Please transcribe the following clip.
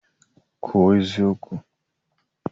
Kwuo eziokwu!